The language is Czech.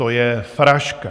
To je fraška!